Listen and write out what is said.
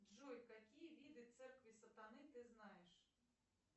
джой какие виды церкви сатаны ты знаешь